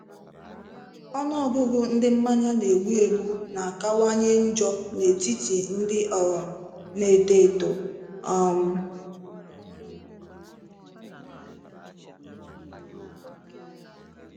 Ọnụ ọgụgụ ndị mmanya na-egbu egbu na-akawanye njọ n'etiti ndị um na-eto eto. um